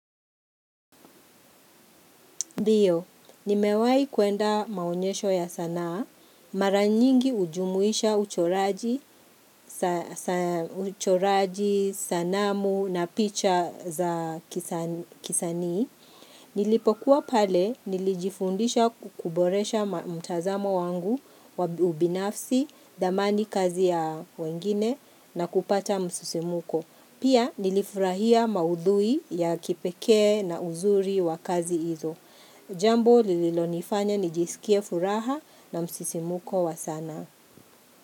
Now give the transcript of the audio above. Ndio, nimewahi kuenda maonyesho ya sanaa, mara nyingi hujumuisha uchoraji uchoraji, sanamu na picha za kisanii Nilipokuwa pale, nilijifundisha kuboresha mtazamo wangu wavubinafsi, dhamani kazi ya wengine na kupata msisimuko. Pia, nilifurahia maudhui ya kipekee na uzuri wa kazi hizo. Jambo lililonifanya nijisikie furaha na msisimuko wa sana.